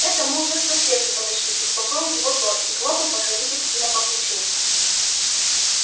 это мы уже к проспекту подошли успокоил его тот и хлопал покровительственно по плечу